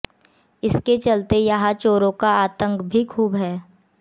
इसके चलते यहां चोरों का आतंक भी खूब है